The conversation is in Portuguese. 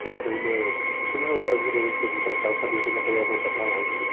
Sem ter uma... Porque todas as, as outras vezes que eu vim para cá, eu sabia quando é que eu ia voltar para lá, entendeu?